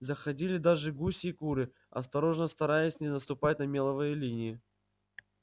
заходили даже гуси и куры осторожно стараясь не наступать на меловые линии